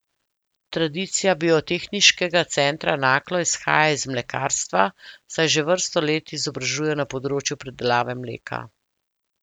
Tradicija Biotehniškega centra Naklo izhaja iz mlekarstva, saj že vrsto let izobražujejo na področju predelave mleka.